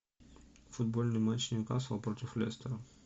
футбольный матч ньюкасл против лестера